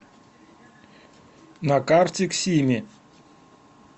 на карте ксими